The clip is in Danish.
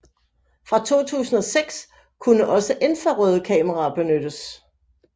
Fra 2006 kunne også infrarøde kameraer benyttes